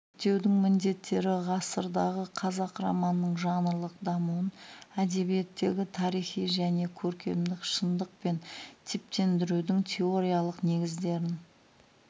зерттеудің міндеттері ғасырдағы қазақ романының жанрлық дамуын әдебиеттегі тарихи және көркемдік шындық пен типтендірудің теориялық негіздерін